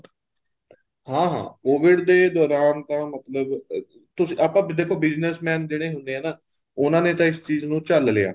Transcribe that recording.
ਹਾਂ ਹਾਂ COVID ਦੇ ਦੋਰਾਨ ਤਾਂ ਮਤਲਬ ਤੁਸੀਂ ਆਪਾਂ ਦੇਖੋ business man ਜਿਹੜੇ ਹੁੰਦੇ ਹੈ ਨਾ ਉਹਨਾ ਨੇ ਤਾਂ ਇਸ ਚੀਜ਼ ਨੂੰ ਝੱਲ ਲਿਆ